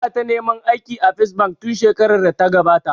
Ina ta neman aiki a First bank tun shekarar da ta gabata